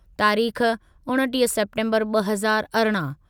तारीख़ उणिटीह सेप्टेम्बरु ॿ हज़ार अरिड़हं